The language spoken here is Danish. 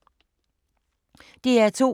DR2